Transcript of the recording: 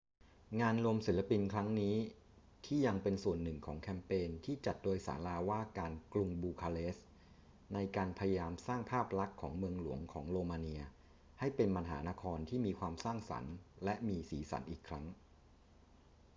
งานรวมศิลปินครั้งนี้ที่ยังเป็นส่วนหนึ่งของแคมเปญที่จัดโดยศาลาว่าการกรุงบูคาเรสต์ ในการพยายามสร้างภาพลักษณ์ของเมืองหลวงของโรมาเนียให้เป็นมหานครที่มีความสร้างสรรค์และมีสีสันอีกครั้ง